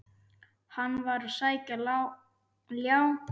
Hann var að sækja ljá.